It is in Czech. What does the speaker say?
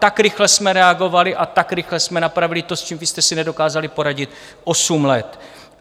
Tak rychle jsme reagovali a tak rychle jsme napravili to, s čím vy jste si nedokázali poradit osm let.